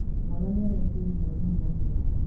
Mwana nĩ araikĩirie mwarimũ mahiga.